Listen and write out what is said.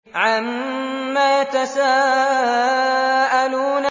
عَمَّ يَتَسَاءَلُونَ